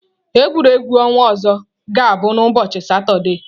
Egwuregwu ọnwa ọzọ ga-abụ n'ụbọchị Satọde.